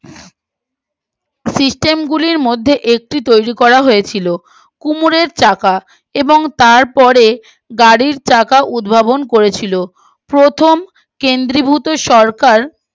system গুলির মধ্যে একটি তৈরী করা হয়েছিল কুমোরের চাকা এবং তারপরে গাড়ির চাকা উদ্ভাবন করেছিল প্রথম কেন্দ্রীভূত সরকার